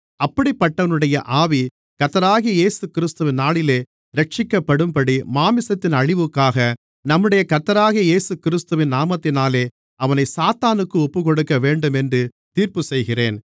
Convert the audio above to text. அப்படிப்பட்டவனுடைய ஆவி கர்த்தராகிய இயேசுகிறிஸ்துவின் நாளிலே இரட்சிக்கப்படும்படி மாம்சத்தின் அழிவுக்காக நம்முடைய கர்த்தராகிய இயேசுகிறிஸ்துவின் நாமத்தினாலே அவனைச் சாத்தானுக்கு ஒப்புக்கொடுக்கவேண்டுமென்று தீர்ப்புச்செய்கிறேன்